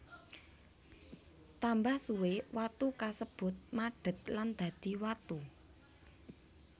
Tambah suwe watu kasebut madet lan dadi watu